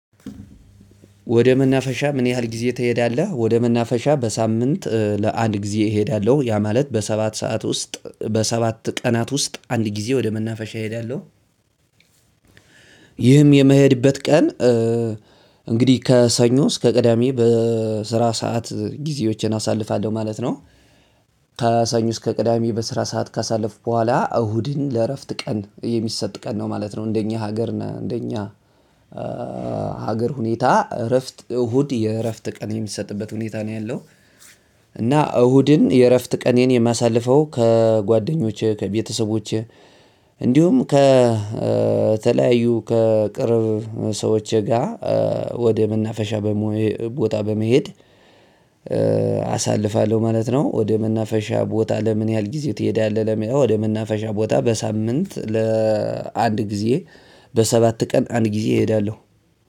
ወደ መናፈሻ ምን ያህል ጊዜ ትሄዳለህ? ወደ መናፈሻ በሳምንት ለአንድ ጊዜ እሄዳለሁ ያ ማለት በሰባት ሰዓት ውስጥ በሰባት ቀናት ውስጥ አንድ ጊዜ ወደ መናፈሻ እሄዳለሁ። ይህም የምሄድበት ቀን። እንግዲህ ከሰኞ እስከ ቅዳሜ በስራ ሰዓት ጊዜዎችን አሳልፋለሁ ማለት ነው። ከሰኞ እስከ ቅዳሜ በስራ ሰዓት ካሳለፍኩ በኋላ እሁድን ለእረፍት ቀን የሚሰጥ ቀን ነው ማለት ነው። እንደኛ ሀገር እና እንደኛ ሀገር ሁኔታ እረፍት እሁድ የእረፍት ቀን የሚሰጥበት ሁኔታ ነው ያለው። እና እሁድን የእረፍት ቀኔን የማሳልፈው ከጓደኞቼ ከቤተሰቦቼ እንዲሁም ከተለያዩ ከቅርብ ሰዎቼ ጋር ወደ መናፈሻ በሞሄ ቦታ በመሄድ። አሳልፋለሁ ማለት ነው። ወደ መናፈሻ ቦታ ለምን ያህል ጊዜ ትሄዳለህ? ለሚለው ወደ መናፈሻ ቦታ በሳምንት ለአንድ ጊዜ። በሰባት ቀን አንድ ጊዜ እሄዳለሁ።